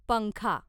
पंखा